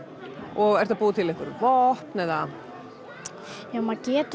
og ertu að búa til einhver vopn eða já maður getur